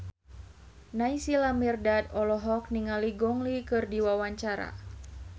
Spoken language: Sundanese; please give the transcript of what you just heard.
Naysila Mirdad olohok ningali Gong Li keur diwawancara